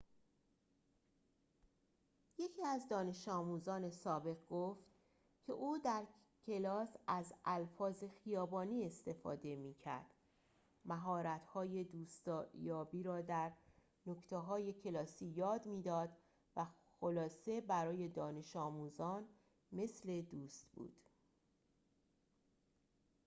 یکی از دانش‌آموزان سابق گفت که او در کلاس از الفاظ خیابانی استفاده می‌کرد مهارت‌های دوست‌یابی را در نکته‌های کلاسی یاد می‌داد و خلاصه برای دانش‌آموزان مثل دوست بود